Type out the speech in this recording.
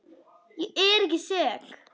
Ég er ekki sek.